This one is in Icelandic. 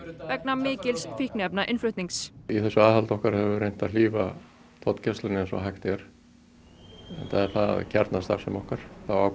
vegna mikils í þessu aðhaldi okkar höfum við reynt að hlífa tollgæslunni eins og hægt er enda er það kjarnastarfsemi okkar